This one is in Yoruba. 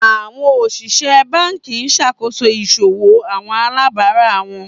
Awọn osìsẹ̀ bánkì n ṣakoso iṣòwò awọn alàbárà wọn.